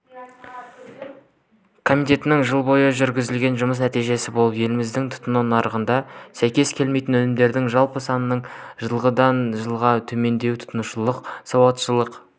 қазақстандық боксшы геннадий головкин британиялық билли джо сондерспен айқасуы мүмкін екендігі жөнінде оның промоутері том леффлер мәлімдеді бұл туралы хабарлады